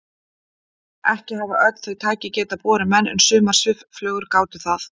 Ekki hafa öll þau tæki getað borið menn en sumar svifflugur gátu það.